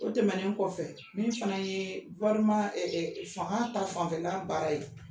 O tɛmɛnen kɔfɛ min fana ye fanga ta fanfɛla baara ye